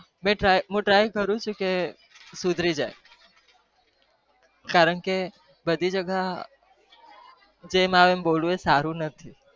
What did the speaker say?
મુ તર્ય કરું છુ ક સુધરી જાય કારણ કે બધી જગ્યા એ જેમ આવે અમ બોલવું સારું નહી